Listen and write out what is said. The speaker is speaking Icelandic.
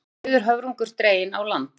Dauður höfrungur dreginn á land